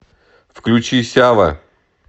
включи сява